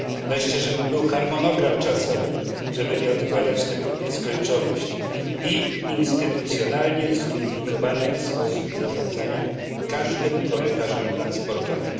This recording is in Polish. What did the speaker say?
Wreszcie żeby był harmonogram czasowy, żeby nie odkładać tego w nieskończoność, i żeby był instytucjonalnie zunifikowany sposób zarządzania każdym korytarzem transportowym.